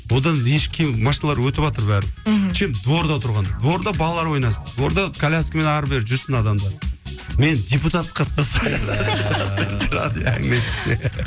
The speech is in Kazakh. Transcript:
одан еш кем машиналар өтіватыр бәрі мхм чем дворда тұрған дворда балалар ойнасын дворда коляскамен ары бері жүрсін адамдар мені депутат қылып